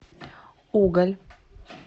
уголь